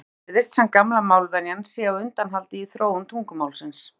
Jafnframt virðist sem gamla málvenjan sé á undanhaldi í þróun tungumálsins.